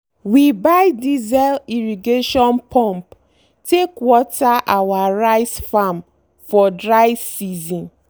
we buy diesel irrigation pump take water our rice farm for dry season.